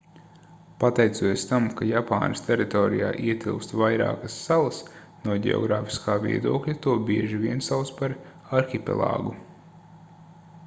pateicoties tam ka japānas teritorijā ietilpst vairākas salas no ģeogrāfiskā viedokļa to bieži vien sauc par arhipelāgu